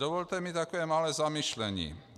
Dovolte mi také malé zamyšlení.